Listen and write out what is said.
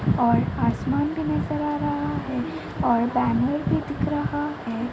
और आसमान भी नजर आ रहा है और बैनर भी दिख रहा है।